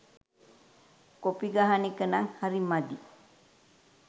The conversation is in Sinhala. කොපි ගහන එකනං හරි මදි.